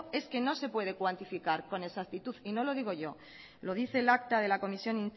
es que no se puede cuantificar con exactitud y no lo digo yo lo dice el acta de la comisión